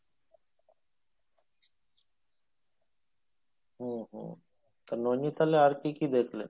হুম হুম তা নোনীতালে আর কি কি দেখলে ?